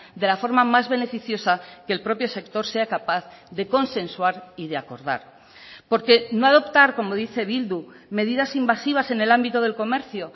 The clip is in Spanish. de la forma más beneficiosa que el propio sector sea capaz de consensuar y de acordar porque no adoptar como dice bildu medidas invasivas en el ámbito del comercio